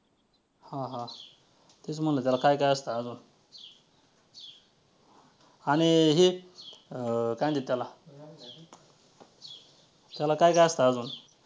हां हां तेच म्हंटल त्याला काय काय असतं अजून आणि हे अं काय अं म्हणत्यात त्याला त्याला काय काय असतं अजून?